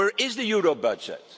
Where is the euro budget?